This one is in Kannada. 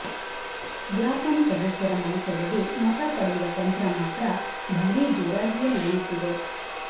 ಗ್ರಾಪಂ ಸದಸ್ಯರ ಮನಸೆಳೆದು ಮತ ಪಡೆಯುವ ತಂತ್ರ ಮಾತ್ರ ಭಾರೀ ಜೋರಾಗಿಯೇ ನಡೆಯುತ್ತಿದೆ